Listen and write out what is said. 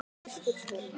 Elsku Thelma og Jói.